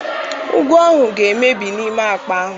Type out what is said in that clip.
Ụgụ ahụ ga-emebi n'ime akpa ahụ.